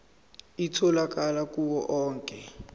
itholakala kuwo onke